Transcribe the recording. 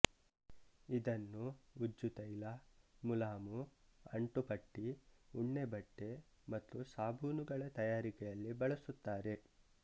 ಇದನ್ನು ಉಜ್ಜು ತೈಲ ಮುಲಾಮು ಅಂಟು ಪಟ್ಟಿ ಉಣ್ಣೆಬಟ್ಟೆ ಮತ್ತು ಸಾಬೂನುಗಳ ತಯಾರಿಕೆಯಲ್ಲಿ ಬಳಸುತ್ತಾರೆ